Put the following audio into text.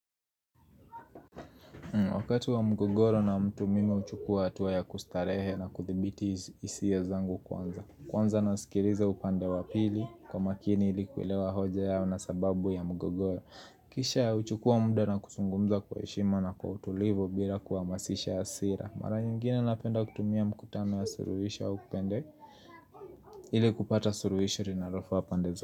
Wakati wa mgogoro na mtu mimi huchukua hatua ya kustarehe na kuthibiti hisia zangu kwanza Kwanza nasikiliza upande wa pili kwa makini ili kuelewa hoja yao na sababu ya mgogoro Kisha huchukua muda na kuzungumza kwa heshima na kwa utulivu bila kuamasisha hasira Mara nyingine napenda kutumia mkutano ya suruhisho au kupende ili kupata suluhisho linalofaa pande zote.